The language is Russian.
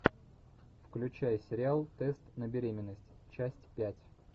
включай сериал тест на беременность часть пять